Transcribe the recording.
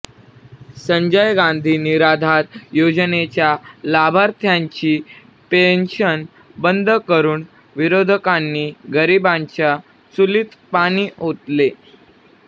संजय गांधी निराधार योजनेच्या लाभार्थ्यांची पेन्शन बंद करून विरोधकांनी गरिबांच्या चुलीत पाणी ओतले